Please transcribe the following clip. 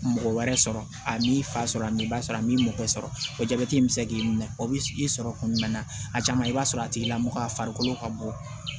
Mɔgɔ wɛrɛ sɔrɔ a n'i fa sɔrɔ min i b'a sɔrɔ a m'i mɔgɔ sɔrɔ o jabɛti in bɛ se k'i minɛ o bɛ i sɔrɔ kuma bɛɛ a caman i b'a sɔrɔ a tigilamɔgɔ a farikolo ka bɔ